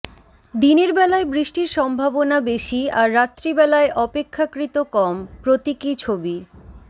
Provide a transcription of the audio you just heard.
দিনের বেলায় বৃষ্টির সম্ভাবনা বেশি আর রাত্রিবেলায় অপেক্ষাকৃত কম প্রতীকী ছবি